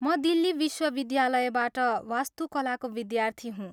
म दिल्ली विश्वविद्यालयबाट वास्तुकलाको विद्यार्थी हुँ।